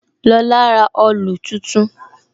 Lola ra òòlù tuntun